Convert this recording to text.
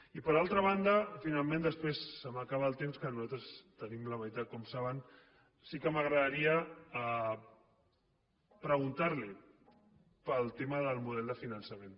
i per altra banda finalment després se m’acaba el temps que nosaltres en tenim la meitat com saben sí que m’agradaria preguntar li pel tema del model de finançament